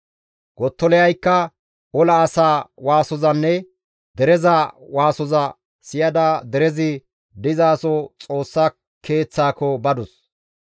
Gottoliyaykka ola asaa waasozanne dereza waasoza siyada derezi dizaso Xoossa Keeththaako badus.